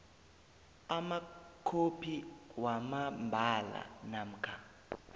amakhophi wamambala namkha